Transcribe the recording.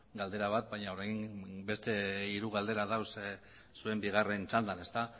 galdera bat baina orain beste hiru galdera daude zuen bigarren txandan ezta